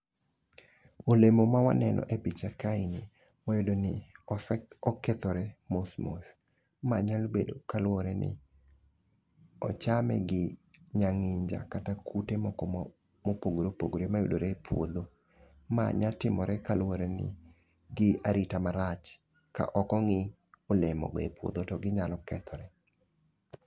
Olemo ma waneno e picha ka ni wayudo ni ose okethore mos mos. Ma nyalo bedo kaluwore ni ochamne gi nyang'inja kata kute moko mopogore opogore mayudore e puodho. Ma nya timore kaluwore ni gi arita marach ka ok ong'i olemo go e puodho to ginyalo kethore.